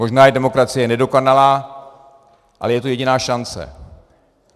Možná je demokracie nedokonalá, ale je to jediná šance.